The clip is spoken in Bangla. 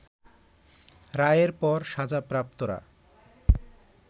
রায়ের পর সাজাপ্রাপ্তরা